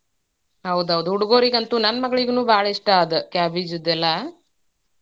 ಹೌದೌದ್ ಹುಡ್ಗೋರಿಗಂತೂ ನನ್ನ ಮಗ್ಳಿಗನು ಭಾಳ್ ಇಷ್ಟಾ ಅದ್ cabbage ದೆಲ್ಲಾ.